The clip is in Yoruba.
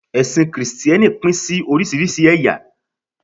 ẹsìn Kristẹni Pin sí orísirísi eya